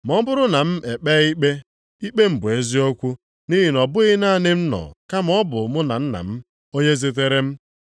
Ma ọ bụrụ na m ekpe ikpe, ikpe m bụ eziokwu nʼihi na ọ bụghị naanị m nọ, kama ọ bụ mụ na Nna m, onye zitere m.